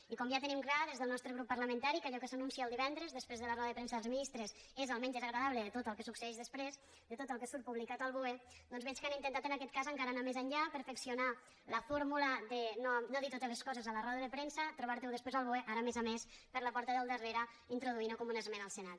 i com ja tenim clar des del nostre grup parlamentari que allò que s’anuncia el divendres després de la roda de premsa dels ministres és el menys desagradable de tot el que succeeix després de tot el que surt publicat al boe doncs veig que han intentat en aquest cas encara anar més enllà perfeccionar la fórmula de no dir totes les coses a la roda de premsa trobar t’ho després al boe ara a més a més per la porta del darrere introduint t’ho com una esmena al senat